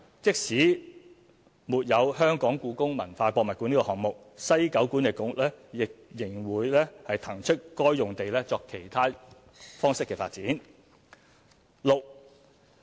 即使沒有故宮館項目，西九管理局仍會騰出該用地作其他方式的發展。